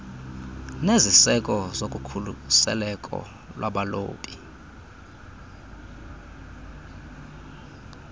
neziseko zokukhuseleko lwabalobi